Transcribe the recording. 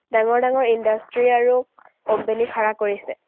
ডাঙৰ ডাঙৰ industry আৰু company খাৰা কৰিছে।